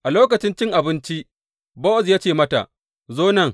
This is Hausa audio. A lokacin cin abinci Bowaz ya ce mata, Zo nan.